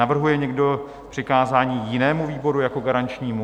Navrhuje někdo přikázání jinému výboru jako garančnímu?